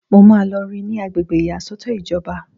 Mo máa lọ rí i ní agbègbè ìyàsọ́tọ̀ ìjọba